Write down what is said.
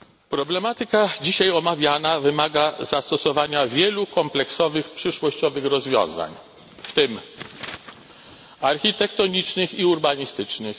Problematyka dzisiaj omawiana wymaga zastosowania wielu kompleksowych przyszłościowych rozwiązań, w tym architektonicznych i urbanistycznych